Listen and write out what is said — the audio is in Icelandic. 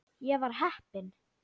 Ég var heppin.